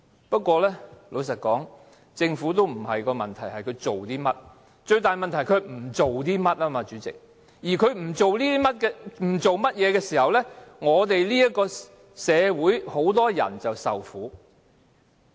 不過，老實說，主席，政府的問題並不是做了甚麼，最大問題是不做些甚麼，而政府不做甚麼的時候，我們這個社會便會有很多人受苦。